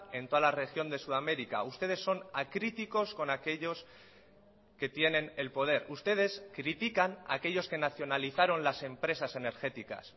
en toda la región de sudamérica ustedes son acríticos con aquellos que tienen el poder ustedes critican a aquellos que nacionalizaron las empresas energéticas